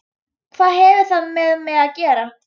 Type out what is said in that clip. Hvað hefur það með mig að gera?